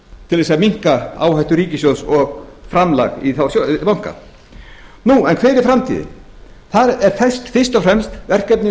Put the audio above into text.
til þess að minnka áhættu ríkissjóðs og framlag í þá banka hver er framtíðin það er fyrst og fremst verkefni